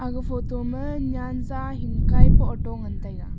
aga photo ma nyanza hinkai pen ato ngan taiga.